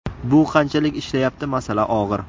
Bu qanchalik ishlayapti masala og‘ir.